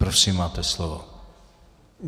Prosím, máte slovo.